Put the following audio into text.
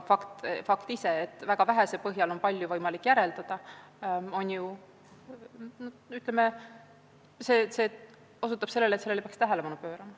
Fakt ise, et väga vähese põhjal on võimalik palju järeldada, osutab sellele, et sellisele tegevusele peaks tähelepanu pöörama.